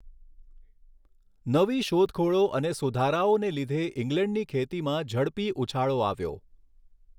નવી શોધખોળો અને સુધારાઓને લીધે ઈંગ્લેન્ડની ખેતીમાં ઝડપી ઊછાળો આવ્યો.